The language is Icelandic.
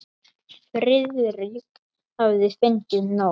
Friðrik hafði fengið nóg.